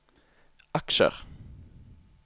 aksjer